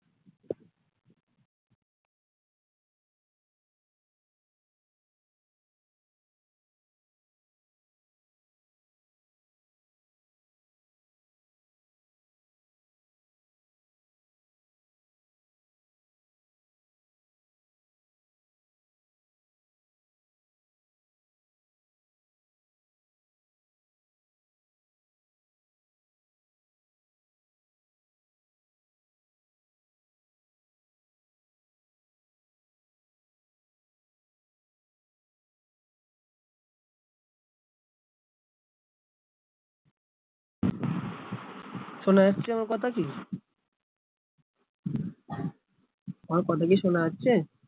শোনা যাচ্ছে আমার কথা, কি আমার কথা কি সোনা যাচ্ছে